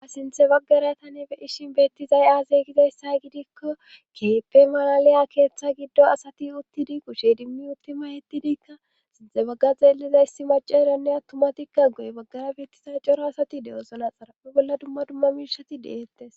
a sinthe baggara tani be ishin beettizay aaze gizayssa gidikko keeppe malaliya keeththa giddo asati uttidi kushe dimmi uttima hettidiikka sinte bagga zeellizayssi macaranne attumatikka goy baggara beettiza coro asati dewozo naxara be bolla dumma dumma miirsati de7eettes